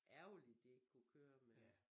Ærgerligt de ikke kunne køre mere